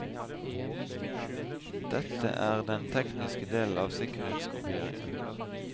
Dette er den tekniske delen av sikkerhetskopieringen.